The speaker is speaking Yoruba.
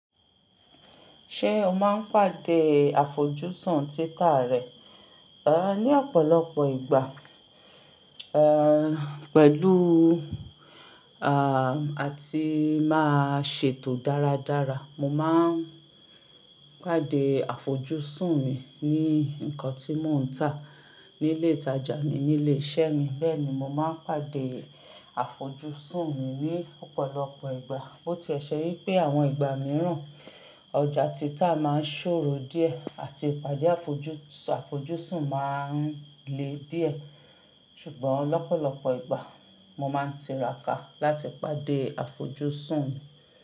Ṣé o máa ń pàdé àfojúsùn títa rẹ? Ẹ́, ní ọ̀pọ̀lọpọ̀ ìgbà, ẹ̀, pẹ̀lú, àti máa ṣètò dáradára. Mo máa ń pàdé àfojúsùn mi ní nnkan tí mò ń tà ní ilé ìtajà mi ní ilé iṣẹ́ mi. Bẹ́ẹ̀ ni, mo máa ń pàdé àfojúsùn mi ní ọ̀pọ̀lọpọ̀ ìgbà. Bó ti ẹ ṣe wípé àwọn ìgbà mìíràn ọjà títa máa ń ṣòro díẹ̀ àti ìpàdé àfojúsùn máa ń le díẹ̀. Ṣùgbọ́n lọ́pọ̀lọpọ̀ ìgbà mo máa ń tiraka láti pàdé àfojúsùn mi.